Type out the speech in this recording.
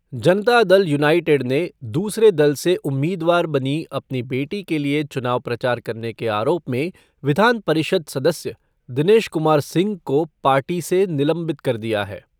जनता Dal United ने दूसरे दल से उम्मीदवार बनी अपनी बेटी के लिये चुनाव प्रचार करने के आरोप में विधान परिषद् सदस्य दिनेश कुमार सिंह को पार्टी से निलंबित कर दिया है।